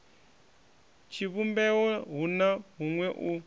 tshivhumbeo hu na huṅwe u